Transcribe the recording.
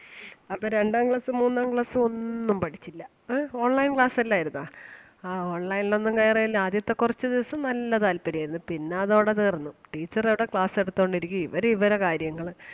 അപ്പം രണ്ടാം class ഉം മൂന്നാം class ഉം ഒന്നും പഠിച്ചില്ല ആഹ് online class അല്ലായിരുന്നാ? ആഹ് online ൽ ഒന്നും കയറുകയും ഇല്ല ആദ്യത്തെ കുറച്ച് ദിവസം നല്ല താല്പര്യം ആരുന്നു പിന്നെ അതോടെ തീർന്നു. teacher അവിടെ class എടുത്തോണ്ട് ഇരിക്കും ഇവര് ഇവരെ കാര്യങ്ങള്